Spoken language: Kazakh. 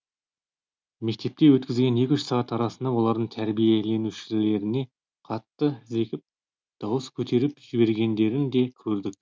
мектепте өткізген екі үш сағат арасында олардың тәрбиеленушілеріне қатты зекіп дауыс көтеріп жібергендерін де көрдік